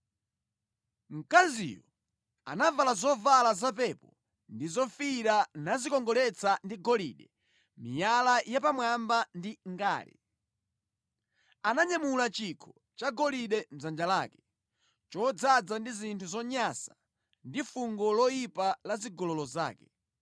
Mkaziyo anavala zovala za pepo ndi zofiira nadzikongoletsa ndi golide, miyala yapamwamba ndi ngale. Ananyamula chikho chagolide mʼdzanja lake, chodzaza ndi zinthu zonyansa ndi fungo loyipa la zigololo zake.